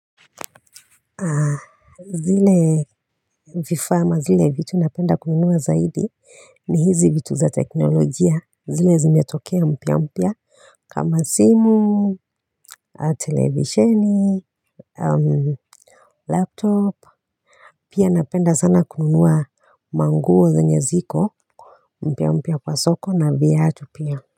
Zile vifaa ama zile vitu napenda kununua zaidi ni hizi vitu za teknolojia zile zimetokea mpya mpya. Kama simu, televisheni Laptop pia napenda sana kununua manguo zenye ziko mpya mpya kwa soko na viatu pia.